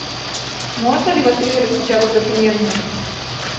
можно ли в отеле распечатать документы